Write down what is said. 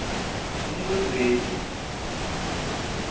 inkhwekhweti